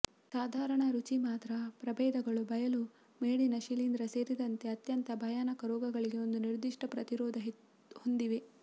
ಸಾಧಾರಣ ರುಚಿ ಮಾತ್ರ ಪ್ರಭೇದಗಳು ಬಯಲು ಮೇಡಿನ ಶಿಲೀಂಧ್ರ ಸೇರಿದಂತೆ ಅತ್ಯಂತ ಭಯಾನಕ ರೋಗಗಳಿಗೆ ಒಂದು ನಿರ್ದಿಷ್ಟ ಪ್ರತಿರೋಧ ಹೊಂದಿವೆ